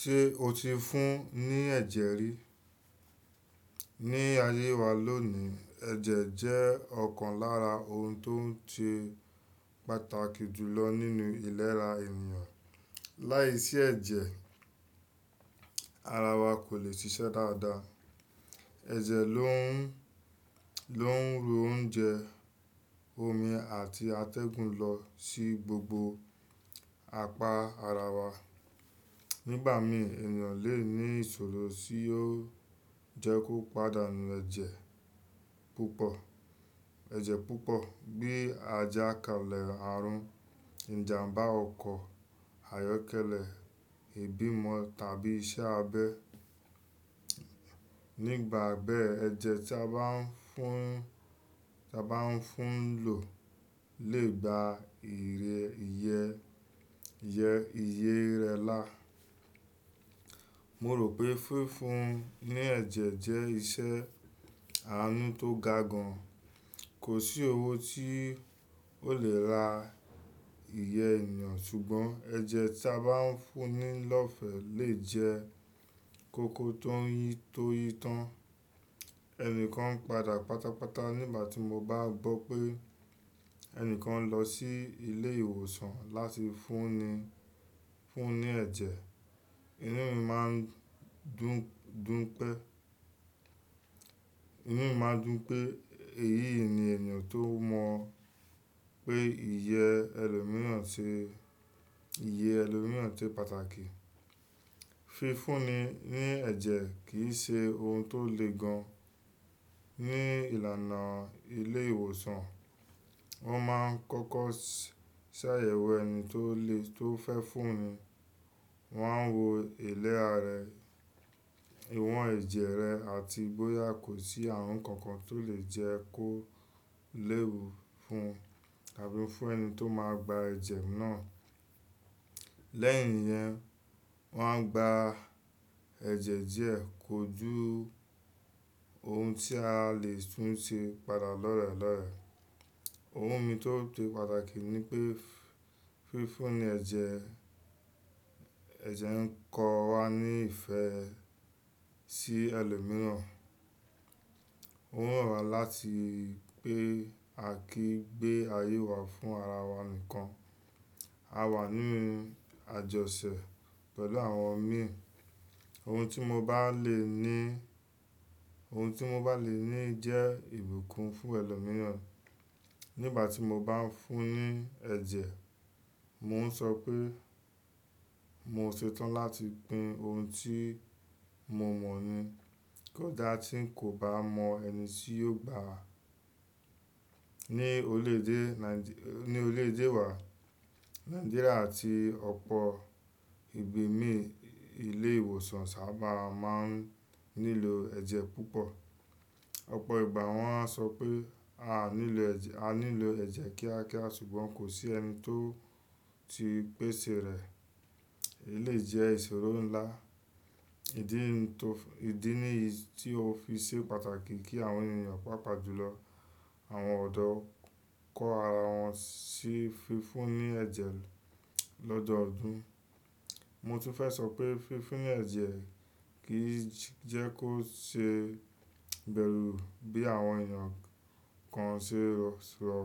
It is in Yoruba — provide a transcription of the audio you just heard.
Ṣé o ti fún ní ẹ̀jẹ̀ rí? Ní ayé wa lónìí, ẹ̀jẹ̀ jẹ́ ọ̀kan lára ohun tó n ṣe pàtàkì jùlọ nínú ìlera ènìyàn. Láìsí ẹ̀jẹ̀, ara wa kò lè ṣiṣẹ́ dáadáa. Ẹ̀jẹ̀ ló ń, ló ń ru oúnjẹ, omi àti atẹ́gùn lọ sí gbogbo apá ara wa. Nígbà mí ènìyàn lè ní ìṣòro tí yóò jẹ́ kó padà nù ẹ̀jẹ̀ púpọ̀, ẹ̀jẹ̀ púpọ̀ bí ajá kalẹ̀ àrùn, ìjàmbá ọkọ̀, àyọ́kẹ́lẹ́, ìbímọ tàbí iṣẹ́ abẹ. Nígbà bẹ́ ẹ̀jẹ̀ tí a bá ń fún, tí a bá ń fún lò lè gba ìrẹ, iye, iye, iye rẹ là. Mo rò pé fií fún ní ẹ̀jẹ̀ jẹ́ ìṣẹ́ àánú tó ga gan. Kò sí owó tí ó lè ra ìyẹ́ èeyàn ṣùgbọ́n ẹ̀jẹ̀ tí a bá ń fún ní lọ́fẹ̀ẹ́ lè jẹ́ kókó tó ń yí tó yí tán. Ẹni kan padà pátápátá nígbà tí mo bá gbọ́ pé ẹni kan lọ sí ilé ìwòsàn láti fúnni, fún ní ẹ̀jẹ̀. Inú mi máa ń dùn, dùn pẹ́. Inú mi máa ń dùn pé èyí ni ènìyàn tó mọ̀ pé iye ẹlòmíràn ṣe, iye ẹlòmíràn ṣe pàtàkì. Fi fúnni ní ẹ̀jẹ̀ kì í ṣe ohun tó le gan. Ní ìlànà ilé ìwòsàn, wọ́n máa ń kọ́kọ́ ṣàyẹ̀wò ẹni tó lè, tó fẹ́ fúnni. Wọ́n a ń wo ìlera rẹ̀, ìwọ̀n ẹ̀jẹ̀ rẹ̀ àti bóyá kò sí àrùn kankan tó lè jẹ́ kó léwu fún, tàbí fún ẹni tó máa gba ẹ̀jẹ̀ náà. Lẹ́yìn yẹn, wọ́n a ń gba ẹ̀jẹ̀ díẹ̀ kojú ohun tí a lè tún ṣe padà lọ́ọ̀rẹ́ lọ́ọ̀rẹ́. Ohun mi tó se pàtàkì ni pé fi fúnni ẹ̀jẹ̀, ẹ̀jẹ̀ ń kọ́ wa ní ìfẹ́ sí ẹlòmíràn. Ó ran wa láti pé a kì í gbé ayé wa fún ara wa nìkan. A wà nínú àjọṣẹ̀ pẹ̀lú àwọn mìíràn. Ohun tí mo bá lè ní, ohun tí mo bá lè ní jẹ́ ìbùkún fún ẹlòmíràn. Nígbà tí mo bá ń fún ní ẹ̀jẹ̀, mò ń sọ pé mo ṣetán láti pín ohun tí mo mọ̀ ní. Kódà tí n kò bá mọ ẹni tí yóò gbà á. Ni orílẹ̀èdè Naij-- ní orílẹ̀èdè wa, Nàìjíríà àti ọ̀pọ̀ ibi mìíràn, ilé ìwòsàn sábà máa ń nílò ẹ̀jẹ̀ púpọ̀. Ọ̀pọ̀ ìgbà wọ́n á sọ pé a nílò ẹ̀jẹ̀, a nílò ẹ̀jẹ̀ kíákíá ṣùgbọ́n kò sí ẹni tó ti pèsè rẹ̀. Èlèyi jẹ́ ìṣòro ńlá. Ìdí inú tó, ìdí nìyí tí ó fi ṣe pàtàkì kí àwọn ènìyàn pàápàá jùlọ àwọn ọ̀dọ́ kọ́ ara wọn sí fi fúnni ẹ̀jẹ̀ lọ́dọọdún. Mo tún fẹ́ sọ pé fi fúnni ẹ̀jẹ̀ kì í jẹ́ kó ṣe bẹ́rù bí àwọn ènìyàn kan ṣe rò.